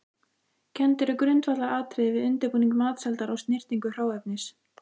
Kennd eru grundvallaratriði við undirbúning matseldar og snyrtingu hráefnis.